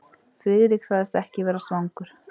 Friðrik sagðist ekki vera svangur.